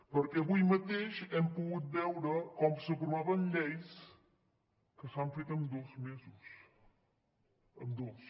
perquè avui mateix hem pogut veure com s’aprovaven lleis que s’han fet en dos mesos en dos